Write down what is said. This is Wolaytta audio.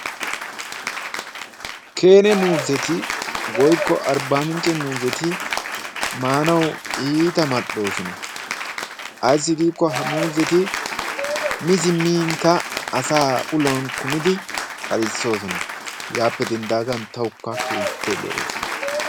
keene muuzzeti woykko arbbaamincce muuzzeti maanawu iita mal'oosona, Ayssi giikko ha muuzzeti mi siminkka asaa uluwan kummidi kalisoosona. Hegaappe dendaagan tawukka keehippe lo'oosona.